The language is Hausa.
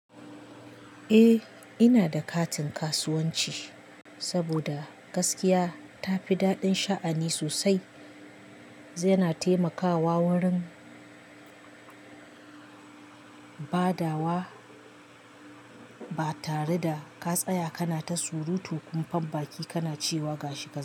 Eh ina da katin kasuwanci saboda gaskiya tafi daɗin sha'ani sosai, zai na taimakawa wurin badawa ba tare da ka tsaya kana ta surutu kunfan baki kana cewa gashi gashi.